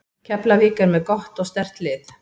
Keflavík er með gott og sterkt lið.